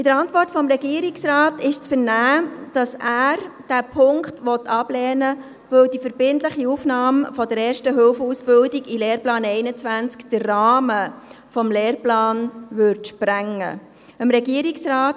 In der Antwort des Regierungsrates ist zu vernehmen, dass er diesen Punkt ablehnt, weil die verbindliche Aufnahme der Erste-Hilfe-Ausbildung den Rahmen des Lehrplans sprengen würde.